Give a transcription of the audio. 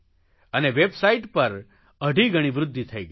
અને વેબસાઇટ પર અઢી ગણી વૃદ્ધિ થઇ ગઇ